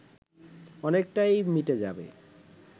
অনেকটাই মিটে যাবে